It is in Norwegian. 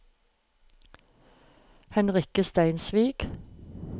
Henrikke Steinsvik